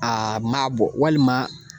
Aa ma bɔ walima